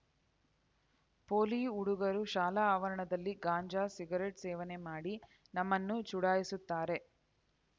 ಪೋಲಿ ಹುಡುಗರು ಶಾಲಾ ಆವರಣದಲ್ಲಿ ಗಾಂಜಾ ಸಿಗರೆಟ್‌ ಸೇವನೆ ಮಾಡಿ ನಮ್ಮನ್ನು ಚುಡಾಯಿಸುತ್ತಾರೆ